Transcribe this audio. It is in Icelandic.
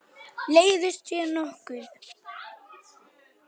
Leiðist þér nokkuð?